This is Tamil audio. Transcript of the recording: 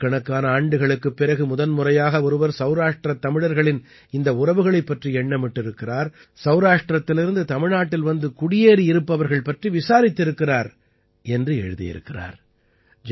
ஆயிரக்கணக்கான ஆண்டுகளுக்குப் பிறகு முதன்முறையாக ஒருவர் சௌராஷ்டிர தமிழர்களின் இந்த உறவுகளைப் பற்றி எண்ணமிட்டிருக்கிறார் சௌராஷ்டிரத்திலிருந்து தமிழ்நாட்டில் வந்து குடியேறியிருப்பவர்கள் பற்றி விசாரித்திருக்கிறார் என்று எழுதியிருக்கிறார்